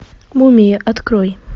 мумия открой